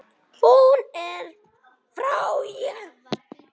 Hún er frjáls.